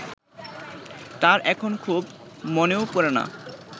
তার এখন খুব মনেও পড়ে না